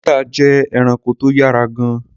Chetta jẹ́ ẹranko tó yára gan-an.